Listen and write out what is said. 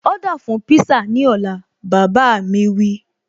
Ọ́dà fún pízá ní ọ̀la, bàbá a mi wí